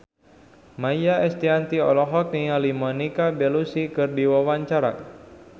Maia Estianty olohok ningali Monica Belluci keur diwawancara